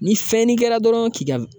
Ni fɛnnin kɛra dɔrɔn k'i ka